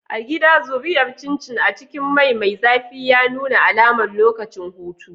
A gida, zuriyar Chin chin a cikin mai mai zafi ya nuna alamar lokacin hutu.